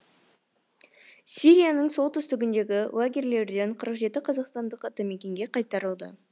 сирияның солтүстігіндегі лагерьлерден қырық жеті қазақстандық атамекенге қайтарылды